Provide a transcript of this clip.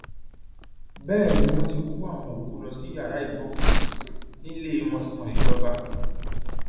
bẹẹ ni wọn ti kó àwọn òkú lọ sí yàrá ìgbọọkúsí níléemọsán ìjọba